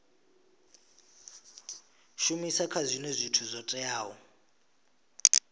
shumisa zwinwe zwithu zwo teaho